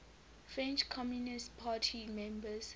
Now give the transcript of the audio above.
french communist party members